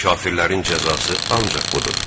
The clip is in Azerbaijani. Kafirlərin cəzası ancaq budur.